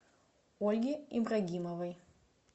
ольге ибрагимовой